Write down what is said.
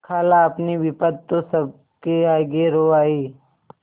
खालाअपनी विपद तो सबके आगे रो आयी